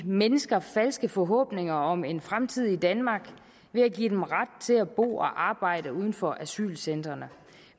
mennesker falske forhåbninger om en fremtid i danmark ved at give dem ret til at bo og arbejde uden for asylcentrene